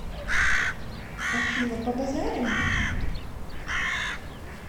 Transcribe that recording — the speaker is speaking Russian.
афина побазарим